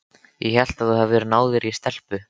Ég hélt að þú hefðir náð þér í stelpu.